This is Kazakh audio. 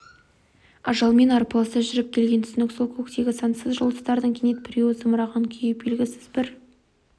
ажалмен арпалыса жүріп келген түсінік сол көктегі сансыз жұлдыздардың кенет біреуі зымыраған күйі белгісіз бір